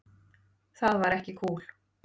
Það var ekki kúl.